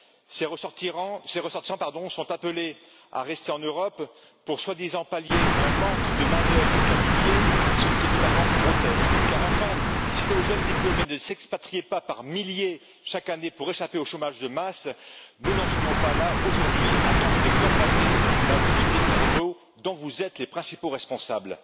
Ces ressortissants sont appelés à rester en Europe pour, soi disant, pallier un manque de main d'œuvre qualifiée, ce qui est totalement grotesque, car, enfin, si nos jeunes diplômés ne s'expatriaient pas par milliers chaque année pour échapper au chômage de masse, nous n'en serions pas là, aujourd'hui, à tenter de colmater la fuite des cerveaux, dont vous êtes les principaux responsables.